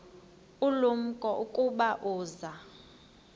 ulumko ukuba uza